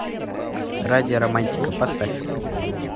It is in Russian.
радио романтика поставь